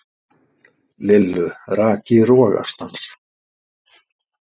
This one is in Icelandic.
Lillu rak í rogastans.